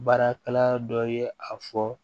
Baarakɛla dɔ ye a fɔ